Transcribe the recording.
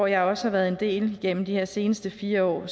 jeg også har været en del af igennem de her seneste fire år